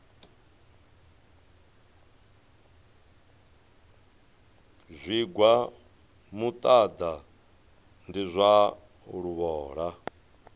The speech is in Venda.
zwigwa muṱaḓa ndi zwa luvhola